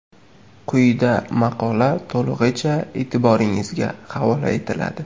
Quyida maqola to‘lig‘icha e’tiboringizga havola etiladi .